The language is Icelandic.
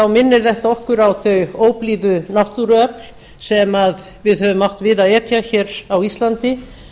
minnir þetta okkur á þau óblíðu náttúruöfl sem við höfum átt við að etja hér á íslandi